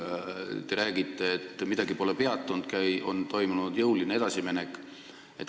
Te räägite, et midagi pole peatunud, on toimunud jõuline edasiminek.